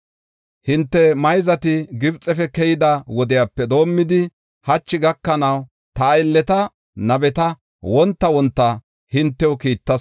Hinte mayzati Gibxefe keyida wodepe doomidi hachi gakanaw ta aylleta, nabeta wonta wonta hintew kiittas.